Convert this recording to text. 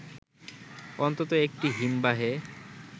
অন্তত একটি হিমবাহে